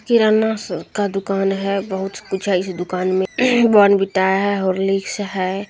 किराना स दुकान है बहुत कुछ है इस दुकान मे बॉर्नविटा है हॉर्लिक्स है।